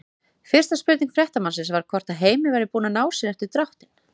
Fyrsta spurning fréttamannsins var hvort að Heimir væri búinn að ná sér eftir dráttinn?